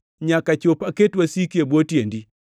nyaka chop aket wasiki e bwo tiendi.” ’+ 2:35 \+xt Zab 110:1\+xt*